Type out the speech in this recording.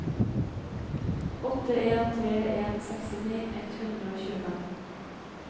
åtte en tre en sekstini ett hundre og tjuefem